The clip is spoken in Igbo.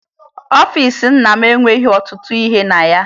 Ọfiisi nna m enweghi ọtụtụ ihe na ya